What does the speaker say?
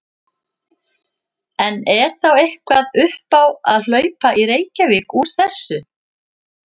En er þá eitthvað upp á að hlaupa í Reykjavík úr þessu?